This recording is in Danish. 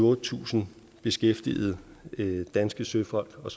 otte tusind beskæftigede danske søfolk og